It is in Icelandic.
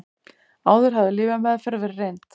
Áður hafði lyfjameðferð verið reynd